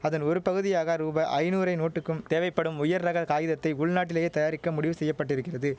அதன் ஒரு பகுதியாக ரூபாய் ஐநூறெ நோட்டுக்கும் தேவைப்படும் உயர்ரக காகிதத்தை உள்நாட்டிலேயே தயாரிக்க முடிவு செய்ய பட்டிருக்கிறது